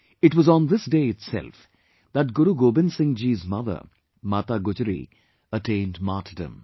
It was on this day itself that Guru Gobind Singhji's mother Mata Gujari attained martyrdom